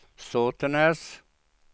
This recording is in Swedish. Sotenäs